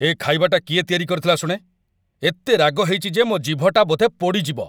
ଏ ଖାଇବାଟା କିଏ ତିଆରି କରିଥିଲା ଶୁଣେ? ଏତେ ରାଗ ହେଇଚି ଯେ ମୋ' ଜିଭଟା ବୋଧେ ପୋଡ଼ି ଯିବ ।